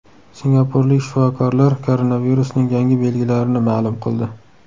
Singapurlik shifokorlar koronavirusning yangi belgilarini ma’lum qildi.